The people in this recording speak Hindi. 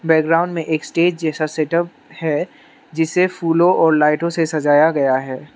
बैकग्राउंड में एक स्टेज जैसा सेटअप है जिसे फूलों और लाइटों से सजाया गया है।